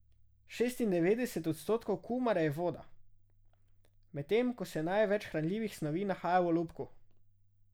Šestindevetdeset odstotkov kumare je voda, medtem ko se največ hranljivih snovi nahaja v olupku.